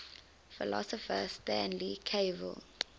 philosopher stanley cavell